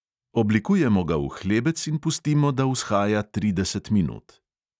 Oblikujemo ga v hlebec in pustimo, da vzhaja trideset minut.